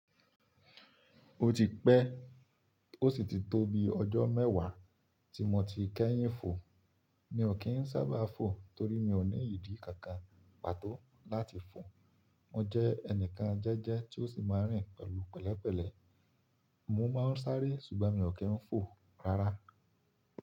Ó ti pẹ́, ó sì ti tó bi ọjọ́ mẹ́wàá tí mo ti kẹ́yìn fò. Mi ò kí ń sábà fò torí mi ò ní ìdí kankan pàtó láti fò. Mo jẹ́ ẹnìkan jẹ́jẹ́ tí ó sì máa rìn pẹ̀lú pẹ̀lẹ́pẹ̀lẹ́. Mo máa ń sáré ṣùgbọ́n mi ò kí ń fò rárá.